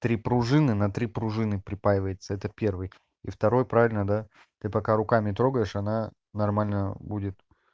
три пружины на три пружины припаивается это первый и второй правильно да ты пока руками трогаешь она нормальная будет